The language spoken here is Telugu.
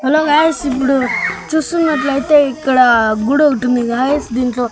హలో గాయ్స్ ఇప్పుడు చూస్తున్నట్లయితే ఇక్కడ గుడొకటుంది గాయ్స్ దీంట్లో--